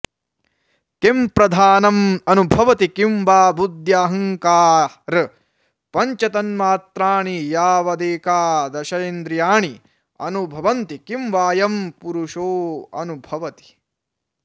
किं प्रधानमनुभवति किं वा बुद्ध्यहङ्कारपञ्चतन्मात्राणि यावदेकादशेन्द्रियाणि अनुभवन्ति किं वायं पुरुषोऽनुभवति